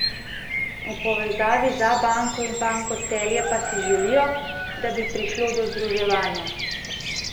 V povezavi z Abanko in Banko Celje pa si želijo, da bi prišlo do združevanja.